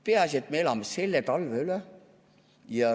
Peaasi, et me elame selle talve üle.